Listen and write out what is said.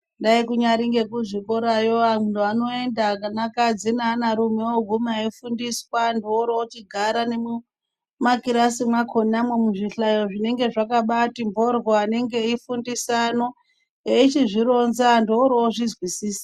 Dai kunyari nge zvikorayo anhu ano enda ana kadzi ne ana rume woguma eyi fundiswa antu wori ochigara ne muma kirasi mwakona mwu zvihlayo zvinenge zvakati bhoryo anenga eyi fundisa ano eichizvironza antu wori ozvinzwisisa.